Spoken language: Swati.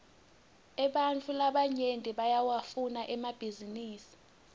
ebantfu labanyenti bayawafuna emabhisinisi